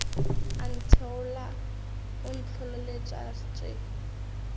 a ntheola o ntlholeletša tše